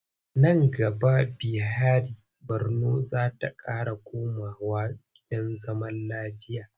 Nan gaba Bihari Borno za ta ƙara komawa gidan zaman lafiya.